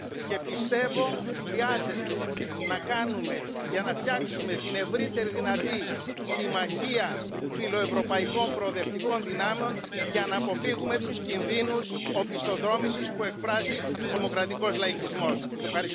Já si přeji, aby nový předseda Evropské komise neoslavoval Marxe a méně důvěřoval Putinovi. Komise, kterou jste vedl, pane předsedo, udělala velký kus práce a chci Vám za to poděkovat. Ale je také třeba připomenout, že tato Komise má určité resty, které bude třeba napravit.